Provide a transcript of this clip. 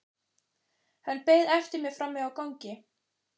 Hann beið eftir mér frammi á gangi.